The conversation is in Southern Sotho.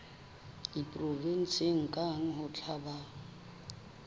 provenseng kang ho tla ba